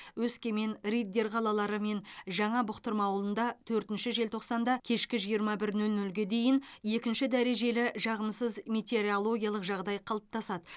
өскемен риддер қалалары мен жаңа бұқтырма ауылында төртінші желтоқсанда кешкі жиырма бір нөл нөлге дейін екінші дәрежелі жағымсыз метеорологиялық жағдай қалыптасады